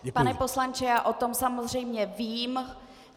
Pane poslanče, já o tom samozřejmě vím.